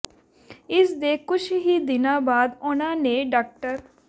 ਇਸ ਦੇ ਕੁਝ ਹੀ ਦਿਨਾਂ ਬਾਅਦ ਉਨ੍ਹਾਂ ਨੇ ਡਾ